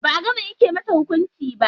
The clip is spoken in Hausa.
Ba'a gama yanke masa hukunci ba.